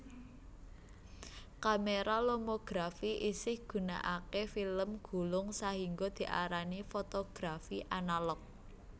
Kamera lomografi isih gunakake film gulung sahingga diarani fotografi analog